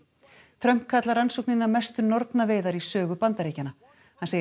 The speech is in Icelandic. Trump kallar rannsóknina mestu nornaveiðar í sögu Bandaríkjanna hann segir